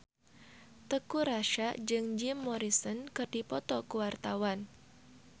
Teuku Rassya jeung Jim Morrison keur dipoto ku wartawan